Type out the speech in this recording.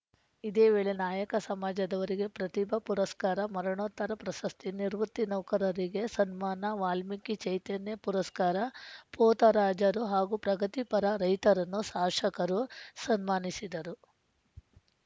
ಇದೇ ವೇಳೆ ನಾಯಕ ಸಮಾಜದವರಿಗೆ ಪ್ರತಿಭಾ ಪುರಸ್ಕಾರ ಮರಣೋತ್ತರ ಪ್ರಸಸ್ತಿ ನಿವೃತ್ತ ನೌಕರರಿಗೆ ಸನ್ಮಾನ ವಾಲ್ಮೀಕಿ ಚೈತನ್ಯ ಪುರಸ್ಕಾರ ಪೋತರಾಜರು ಹಾಗೂ ಪ್ರಗತಿ ಪರ ರೈತರನ್ನು ಶಾಶಕರು ಸನ್ಮಾನಿಸಿದರು